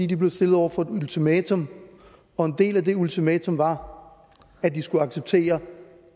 de blev stillet over for et ultimatum og en del af det ultimatum var at de skulle acceptere